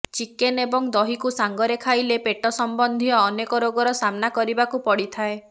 chicken ଏବଂ ଦହିକୁ ସାଙ୍ଗରେ ଖାଇଲେ ପେଟ ସମ୍ବନ୍ଧୀୟ ଅନେକ ରୋଗର ସାମ୍ନା କରିବାକୁ ପଡିଥାଏ